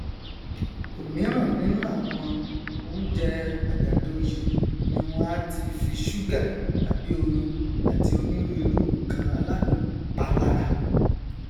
òmíràn nínú àwọn oújẹ àgàdo yìí ni wọn á ti fi ṣúgà tàbí oyin àti onírúirú nnkan aládùn pa lára